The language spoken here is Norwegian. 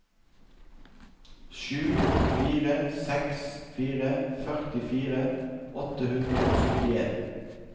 sju fire seks fire førtifire åtte hundre og syttien